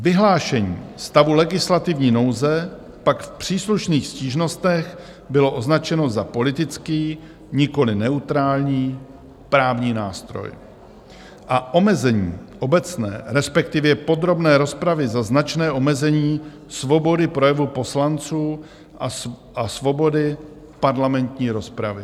Vyhlášení stavu legislativní nouze pak v příslušných stížnostech bylo označeno za politický, nikoliv neutrální právní nástroj a omezení obecné, respektive podrobné rozpravy za značné omezení svobody projevu poslanců a svobody parlamentní rozpravy.